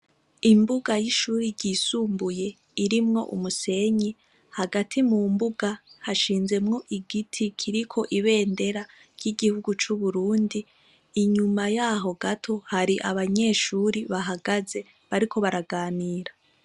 Imbuga y'ishure ryisumbuye irimwo umusenyi, hagati mu mbuga hashinzemwo igiti kiriko ibendera ry'igihugu c'Uburundi, inyuma yaho gato hari abanyeshuri bahagaze bariko baraganira.